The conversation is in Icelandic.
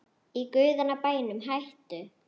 Í guðanna bænum hættu